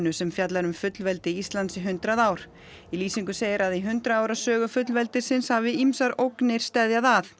sem fjallar um fullveldi Íslands í hundrað ár í lýsingu segir að í hundrað ára sögu fullveldisins hafi ýmsar ógnir steðjað að